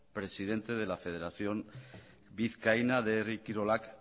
presidente de la federación vizcaína de herri kirolak